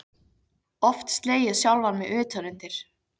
Oft slegið sjálfan mig utan undir.